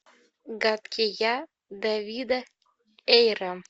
гадкий я дэвида эйра